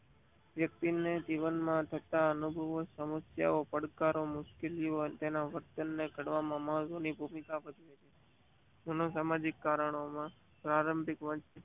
વક્તિ જીવન માં થતા અનુભવો સમશિયાઓ પડકારો મુશ્કેલો તેના વર્તન ને કડવા મામસો ની ભૂમિકા ભજવે છે. અસામાજિક કારણો ના પ્રારંભિક